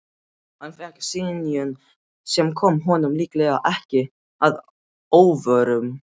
Hann fékk synjun, sem kom honum líklega ekki að óvörum.